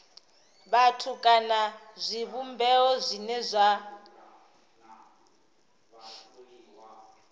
vhathu kana zwivhumbeo zwine zwa